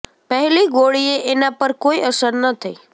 પહેલી ગોળીએ એના પર કોઈ અસર ન થઈ